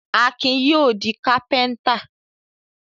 Akin yóò di kápẹ́ńtà.